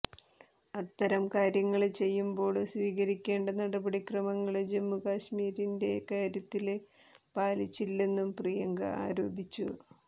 അത്തരം കാര്യങ്ങള് ചെയ്യുമ്പോള് സ്വീകരിക്കേണ്ട നടപടിക്രമങ്ങള് ജമ്മുകശ്മീരിന്റെ കാര്യത്തില് പാലിച്ചില്ലെന്നും പ്രിയങ്ക ആരോപിച്ചു